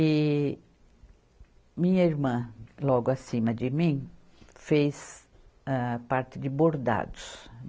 E minha irmã, logo acima de mim, fez, âh parte de bordados.